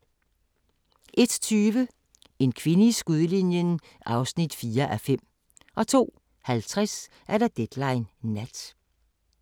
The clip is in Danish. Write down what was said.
01:20: En kvinde i skudlinjen (4:5) 02:50: Deadline Nat